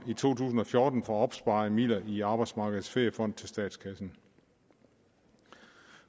i to tusind og fjorten fra opsparede midler i arbejdsmarkedets feriefond til statskassen